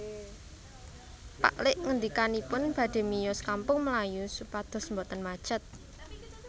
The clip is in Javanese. Pak lik ngendikanipun badhe miyos Kampung Melayu supados mboten macet